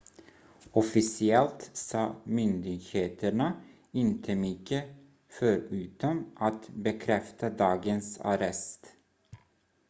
officiellt sa myndigheterna inte mycket förutom att bekräfta dagens arrest